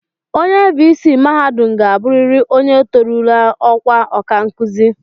Onye viisii mahadum ga-abụrịrị onye torurula ọkwa ọkankụzi